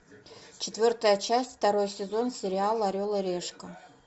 четвертая часть второй сезон сериал орел и решка